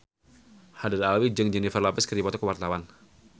Haddad Alwi jeung Jennifer Lopez keur dipoto ku wartawan